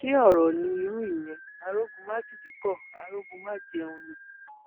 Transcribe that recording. ṣe ọrọ ní irú ìyẹn arógunmátìdí kó arógunmájẹun ni